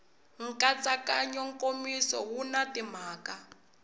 nkatsakanyo nkomiso wu na timhaka